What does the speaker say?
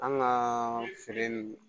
An kaaa feere nin